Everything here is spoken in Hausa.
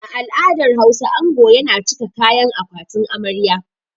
A al'adar Hausa, ango yana cika kayan akwatin amarya.